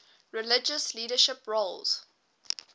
religious leadership roles